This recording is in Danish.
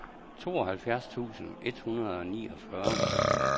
tooghalvfjerds tusind et hundrede og niogfyrre